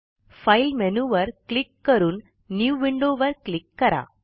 file मेनूवर click करून new window वर क्लिक करा